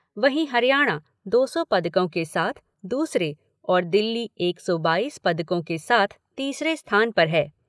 वहीं हरियाणा दो सौ पदकों के साथ दूसरे और दिल्ली एक सौ बाईस पदकों के साथ तीसरे स्थान पर है।